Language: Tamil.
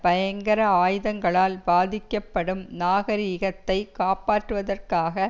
பயங்கர ஆயுதங்களால் பாதிக்கப்படும் நாகரீகத்தை காப்பாற்றுவதற்காக